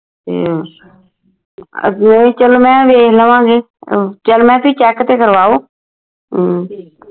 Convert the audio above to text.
ਤੇ ਅੱਗੇ ਚੱਲੋ ਮੈਂ ਵੇਖ ਲਵਾਂਗੀ ਉਹ ਚੱਲ ਮੈਂ ਕਿ check ਤੇ ਕਰਵਾਓ ਹਮ